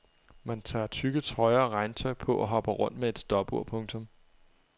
Man tager tykke trøjer og regntøj på og hopper rundt med et stopur. punktum